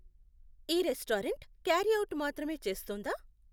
ఈ restaurant carryout మాత్రమే చేస్తుందా?